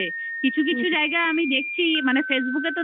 হচ্ছে. কিছু কিছু জায়গায় আমি দেখছি মানে facebook